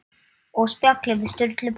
Og spjalli við Sturlu bónda.